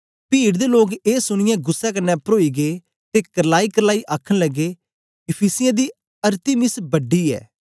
पीड दे लोक ए सुनीयै गुस्सै कन्ने परोई गेई ते करलाईकरलाई आखन लगे इफिसियों दी अरतिमिस बड़ी ऐ